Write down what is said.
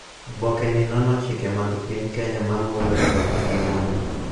Oboke ni nono chike mag piny Kenya ma mulo chwo gi mon,